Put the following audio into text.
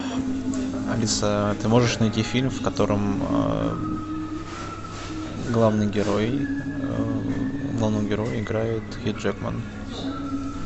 алиса ты можешь найти фильм в котором главный герой главного героя играет хью джекман